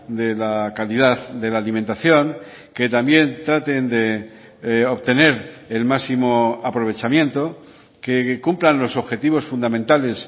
de la calidad de la alimentación que también traten de obtener el máximo aprovechamiento que cumplan los objetivos fundamentales